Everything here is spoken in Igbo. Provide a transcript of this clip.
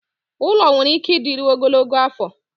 ụlọ nwere ike ịdịru ogologo afọ